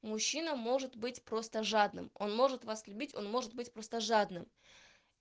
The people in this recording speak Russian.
мужчина может быть просто жадным он может вас любить он может быть просто жадным